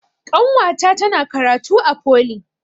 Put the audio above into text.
Ƙanwata tana karatu a foli